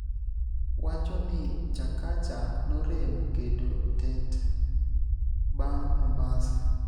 wacho ni Chakacha norem keto tet bang' Mombasa